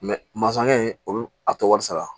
masakɛ o a tɛ wari sara